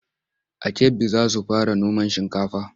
A Kebbi za su fara noman shinkafa.